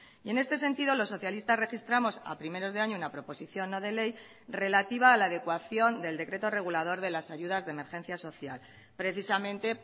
y en este sentido los socialistas registramos a primeros de año una proposición no de ley relativa a la adecuación del decreto regulador de las ayudas de emergencia social precisamente